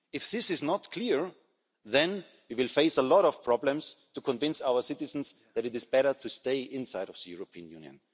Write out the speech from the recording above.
If this is not clear then we will face a lot of problems to convince our citizens that it is better to stay inside of the European Union.